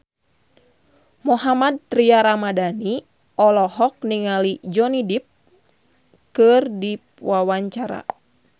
Mohammad Tria Ramadhani olohok ningali Johnny Depp keur diwawancara